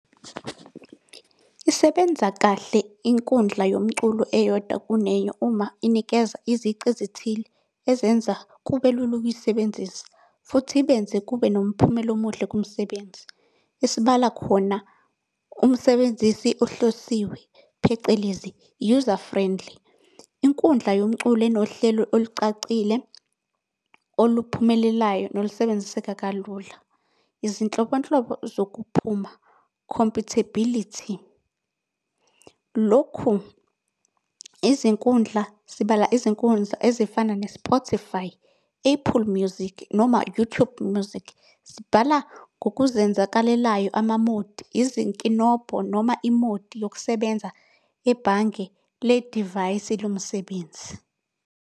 Isebenza kahle inkundla yomculo eyodwa kunenye uma inikeza izici ezithile ezenza kube lula ukuyisebenzisa, futhi benze kube nomphumela omuhle kumsebenzi. Esibala khona umsebenzisi ohlosiwe, phecelezi, user friendly. Inkundla yomculo enohlelo olucacile, oluphumelelayo, nolusebenziseka kalula. Izinhlobonhlobo zokuphuma, compatibility. Lokhu izinkundla, sibala izinkundla ezifana ne-Spotify, Apple Music, noma YouTube Music. Sibhala ngokuzenzakalelayo ama-mode, izinkinobho noma i-mode yokusebenza ebhange le divayisi lomsebenzi.